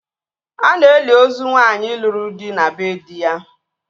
A na-eli ozu nwaanyị lụrụ di na bee dị ya